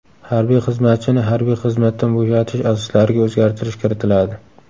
Harbiy xizmatchini harbiy xizmatdan bo‘shatish asoslariga o‘zgartirish kiritiladi.